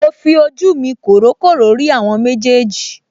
Mo fi ojú mi kòrókòró rí àwọn méjèèjì